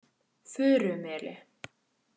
Furumeli